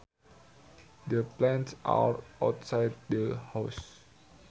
The plants are outside the house